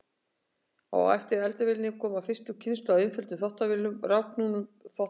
Á eftir eldavélinni kom fyrsta kynslóð af einföldum þvottavélum og rafknúnum þvottapottum.